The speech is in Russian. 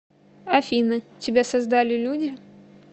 афина тебя создали люди